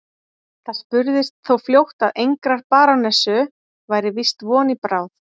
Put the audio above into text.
Það spurðist þó fljótt að engrar barónessu væri víst von í bráð.